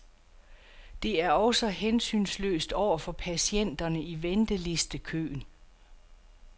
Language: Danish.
Det er også hensynsløst over for patienterne i ventelistekøen.